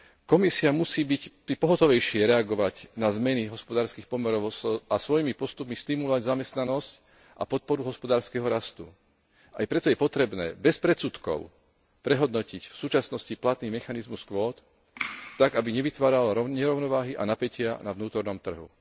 Komisia musí pohotovejšie reagovať na zmeny hospodárskych pomerov a svojimi postupmi stimulovať zamestnanosť a podporu hospodárskeho rastu. Aj preto je potrebné bez predsudkov prehodnotiť v súčasnosti platný mechanizmus kvót tak, aby nevytváral nerovnováhy a napätia na vnútornom trhu.